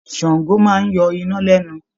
Ṣàngó máa ń yọ iná lẹ́nu